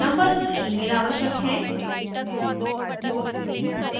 numbers और mail आवश्यक हैं